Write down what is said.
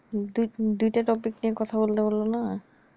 দুই দুইটা টপিক নিয়ে কথা বলল্লে বল্লোনা